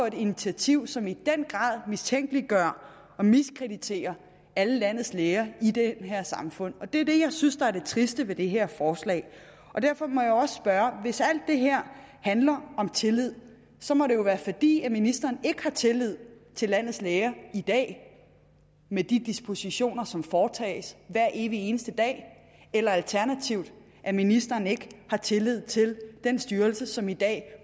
et initiativ som i den grad mistænkeliggør og miskrediterer alle landets læger i det her samfund det er det jeg synes er det triste ved det her forslag og derfor må jeg også spørge hvis alt det her handler om tillid så må det jo være fordi ministeren ikke har tillid til landets læger i dag med de dispositioner som de foretager hver evig eneste dag eller alternativt at ministeren ikke har tillid til den styrelse som i dag